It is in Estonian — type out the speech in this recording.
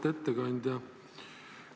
Auväärt ettekandja!